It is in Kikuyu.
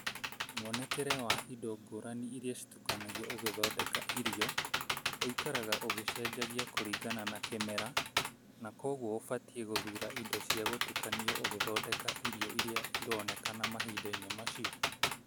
Mwonekere wa indo ngũrani iria citukanagio ũgĩthondeka irio ũikaraga ũgĩcenjangagia kũringana na kĩmera, na kwoguo ũbatiĩ gũthura indo cia gũtukanio ũgĩthondeka irio iria ironekana mahinda-inĩ macio.